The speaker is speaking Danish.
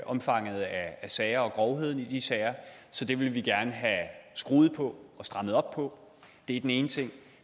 omfanget af sager og grovheden i de sager så det vil vi gerne have skruet på og strammet op på det er den ene ting